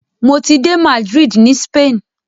Mọ ti de Madrid ni Spain.